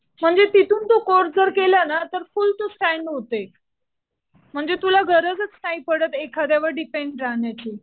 म्हणजे तिथून तू कोर्स जर केला ना तर फुल तू स्टॅन्ड होते. म्हणजे तुला गरजच नाही पडत एखाद्यावर डिपेंड राहण्याची.